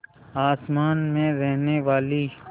आसमान में रहने वाली